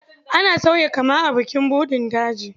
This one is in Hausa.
Ana sauya kama a bukin buɗin daji.